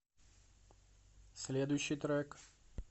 следующий трек